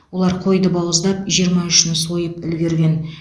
олар қойды бауыздап жиырма үшін сойып үлгерген